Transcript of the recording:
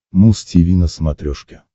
муз тиви на смотрешке